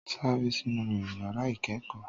saré sinu rẹ ìyàrá ìkẹẹkọ!